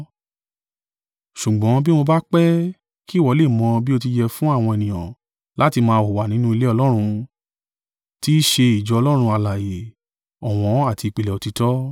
Ṣùgbọ́n bí mo bá pẹ́, kí ìwọ lè mọ̀ bí ó ti yẹ fún àwọn ènìyàn láti máa hùwà nínú ilé Ọlọ́run, tì í ṣe ìjọ Ọlọ́run alààyè, ọ̀wọ́n àti ìpìlẹ̀ òtítọ́.